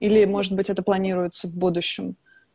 или может быть это планируется в будущем